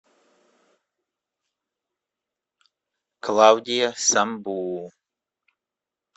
клавдия самбуу